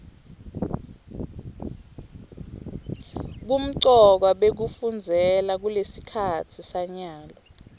bumgkwa bekufunzela kulesikhatsi sanyalo